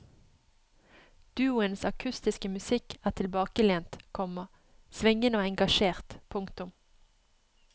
Duoens akustiske musikk er tilbakelent, komma svingende og engasjert. punktum